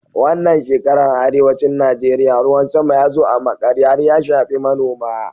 Wannan shekaran a arewacin Najeriya, ruwan sama ya zo a maƙare har ya shafi manoma.